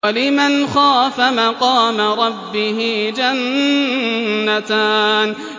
وَلِمَنْ خَافَ مَقَامَ رَبِّهِ جَنَّتَانِ